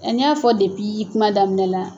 Nka n y'a fɔ kuma daminɛ la yan.